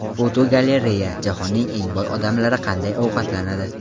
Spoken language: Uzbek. Fotogalereya: Jahonning eng boy odamlari qanday ovqatlanadi?.